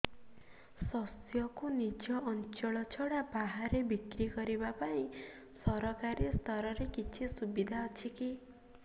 ଶସ୍ୟକୁ ନିଜ ଅଞ୍ଚଳ ଛଡା ବାହାରେ ବିକ୍ରି କରିବା ପାଇଁ ସରକାରୀ ସ୍ତରରେ କିଛି ସୁବିଧା ଅଛି କି